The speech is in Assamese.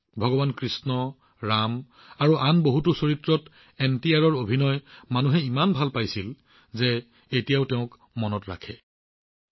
মানুহে ভগৱান কৃষ্ণ ৰাম আৰু আন বহুতো চৰিত্ৰত এনটিআৰৰ অভিনয় ইমানেই ভাল পাইছিল যে তেওঁলোকে এতিয়াও তেওঁক মনত ৰাখিছে